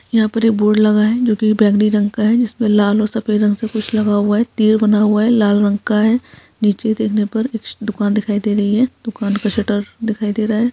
यहाँ पर एक बोर्ड लगा है जो की बैंगनी रंग का है जिसमें लाल और सफ़ेद रंग से कुछ लगा हुआ है तीर बना हुआ है लाल रंग का है नीचे देखने पर एक दुकान दिखाई दे रही है दुकान क शटर दिखाई दे रहा है।